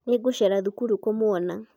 nĩngũcera thukuru kumwona